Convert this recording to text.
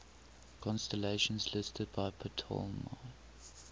constellations listed by ptolemy